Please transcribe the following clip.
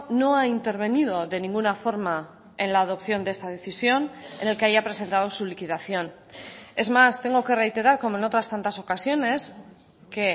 no ha intervenido de ninguna forma en la adopción de esta decisión en el que haya presentado su liquidación es más tengo que reiterar como en otras tantas ocasiones que